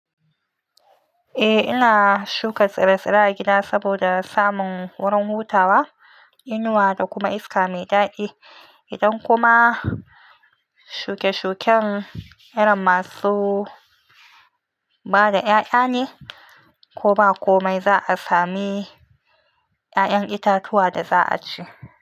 Eh ina shuka tsire-tsire a gida saboda samun wurin hutawa, inuwa da kuma iska mai daɗi. Idan kuma shuke-shuken irin masu bada 'ya'ya ne ko ba komai, za'a sami 'ya'yan itatuwa da za'a ci.